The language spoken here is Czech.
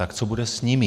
Tak co bude s nimi?